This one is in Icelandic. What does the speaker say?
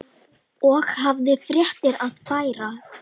Og hafði fréttir að færa.